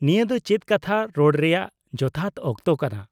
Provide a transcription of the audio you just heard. -ᱱᱤᱭᱟᱹ ᱫᱚ ᱪᱮᱫ ᱠᱟᱛᱷᱟ ᱨᱚᱲ ᱨᱮᱭᱟᱜ ᱡᱚᱛᱷᱟᱛ ᱚᱠᱛᱚ ᱠᱟᱱᱟ ?